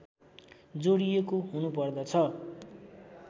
जोडिएको हुनु पर्दछ